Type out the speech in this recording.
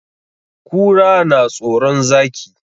Kura na tsoron Zaki.